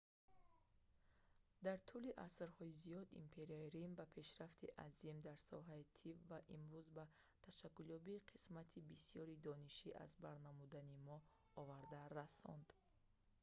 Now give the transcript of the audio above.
дар тӯли асрҳои зиёд империяи рим ба пешрафти азим дар соҳаи тиб ва имрӯз ба ташаккулёбии қисмати бисёри дониши аз бар намудани мо оварда расонд